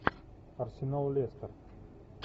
арсенал лестер